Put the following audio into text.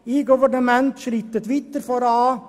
eGovernment schreitet weiter voran.